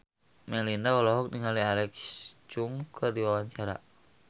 Melinda olohok ningali Alexa Chung keur diwawancara